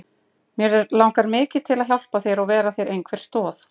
Mig langar mikið til að hjálpa þér og vera þér einhver stoð.